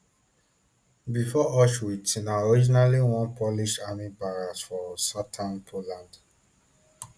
bifor auschwitz na originally one polish army barracks for southern poland